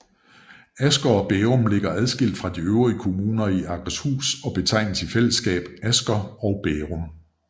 Asker og Bærum ligger adskilt fra de øvrige kommuner i Akershus og betegnes i fællesskab Asker og Bærum